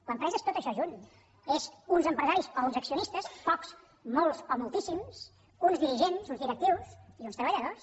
l’empresa és tot això junt és uns empresaris o uns accionistes pocs molts o moltíssims uns dirigents uns directius i uns treballadors